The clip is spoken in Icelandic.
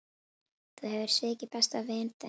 Þú hefur svikið besta vin þinn.